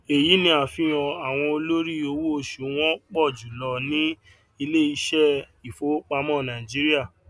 èyí ni àfihàn àwọn olórí owó osù wọn pọ jùlọ ni iléiṣẹ ìfowópamọ nàìjíríà